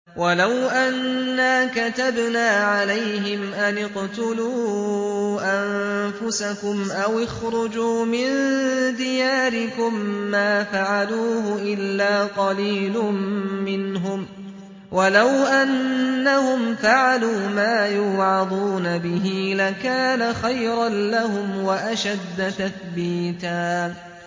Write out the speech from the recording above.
وَلَوْ أَنَّا كَتَبْنَا عَلَيْهِمْ أَنِ اقْتُلُوا أَنفُسَكُمْ أَوِ اخْرُجُوا مِن دِيَارِكُم مَّا فَعَلُوهُ إِلَّا قَلِيلٌ مِّنْهُمْ ۖ وَلَوْ أَنَّهُمْ فَعَلُوا مَا يُوعَظُونَ بِهِ لَكَانَ خَيْرًا لَّهُمْ وَأَشَدَّ تَثْبِيتًا